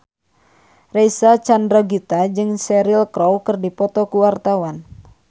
Reysa Chandragitta jeung Cheryl Crow keur dipoto ku wartawan